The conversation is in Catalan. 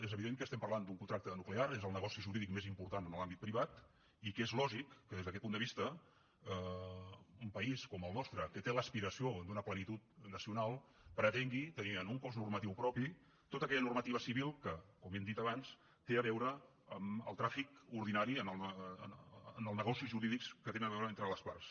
és evident que estem parlant d’un contracte nuclear és el negoci jurídic més important en l’àmbit privat i que és lògic que des d’aquest punt de vista un país com el nostre que té l’aspiració d’una plenitud nacional pretengui tenir en un cos normatiu propi tota aquella normativa civil que com hem dit abans té a veure amb el tràfic ordinari amb els negocis jurídics que tenen a veure entre les parts